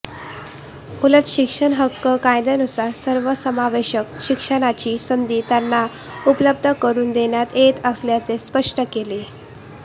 उलट शिक्षण हक्क कायद्यानुसार सर्वसमावेशक शिक्षणाची संधी त्यांना उपलब्ध करून देण्यात येत असल्याचे स्पष्ट केले